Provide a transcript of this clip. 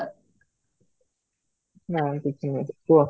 ନାହିଁ କିଛି ନାହିଁ, କୁହ